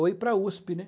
Ou ir para a USP, né?